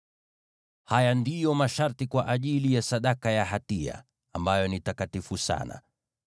“ ‘Haya ndiyo masharti kwa ajili ya sadaka ya hatia, ambayo ni takatifu sana: